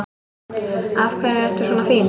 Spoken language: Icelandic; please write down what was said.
Af hverju ertu svona fín?